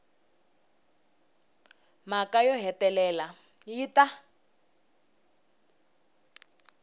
mhaka yo hetelela yi ta